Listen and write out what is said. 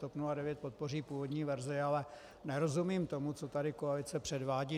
TOP 09 podpoří původní verzi, ale nerozumím tomu, co tady koalice předvádí.